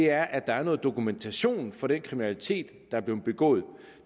er noget dokumentation for den kriminalitet der er blevet begået